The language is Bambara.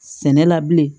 Sɛnɛ la bilen